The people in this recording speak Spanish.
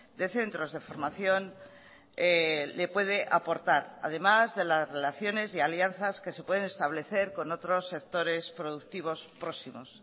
de centros de formación le puede aportar además de las relaciones y alianzas que se pueden establecer con otros sectores productivos próximos